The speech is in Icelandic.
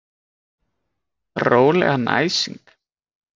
Rólegarn æsing!